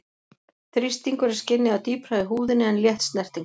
Þrýstingur er skynjaður dýpra í húðinni en létt snerting.